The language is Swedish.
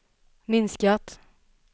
minskat